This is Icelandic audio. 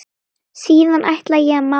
Síðan ætla ég að mála.